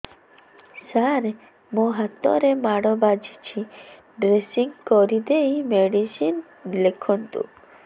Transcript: ସାର ମୋ ହାତରେ ମାଡ଼ ବାଜିଛି ଡ୍ରେସିଂ କରିଦେଇ ମେଡିସିନ ଲେଖନ୍ତୁ